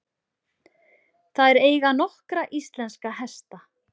Þær eiga nokkra íslenska hesta.